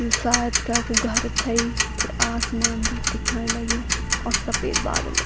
यु सायद केकु घर थेइ फिर आसमान भी दिखेंण लग्युं और सफ़ेद बादल --